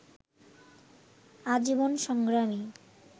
আজীবন সংগ্রামী